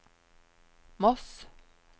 Moss